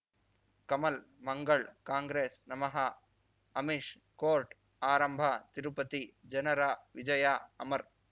ಕಮಲ್ ಮಂಗಳ್ ಕಾಂಗ್ರೆಸ್ ನಮಃ ಅಮಿಷ್ ಕೋರ್ಟ್ ಆರಂಭ ತಿರುಪತಿ ಜನರ ವಿಜಯ ಅಮರ್